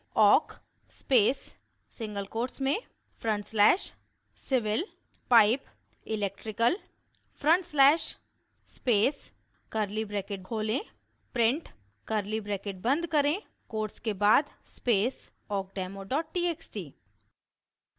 awk space single quotes में front slash civil pipe electrical front slash space curly bracket खोलें {print} curly bracket बंद करें quotes के बाद स्पेस awkdemotxt